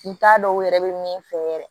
N t'a dɔn u yɛrɛ bɛ min fɛ yɛrɛ